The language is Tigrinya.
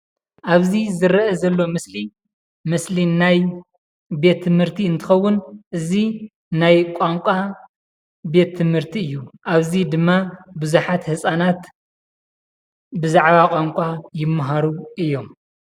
ኣብዚ ዝርአ ዘሎ ምስሊ ምስሊ ናይ ቤት ትምህርቲ እንትከውን እዚ ናይ ቋንቋ ቤት ትምህርቲ እዩ ። ኣብዚ ድማ ቡዙሓት ህፃናት ብዛዕባ ቋንቋ ይመሃሩ እዮም።